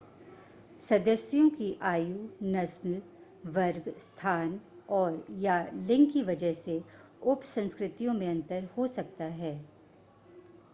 सदस्यों की आयु नस्ल वर्ग स्थान और/या लिंग की वजह से उपसंस्कृतियों में अंतर हो सकता है